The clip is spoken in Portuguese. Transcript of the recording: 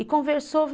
E conversou.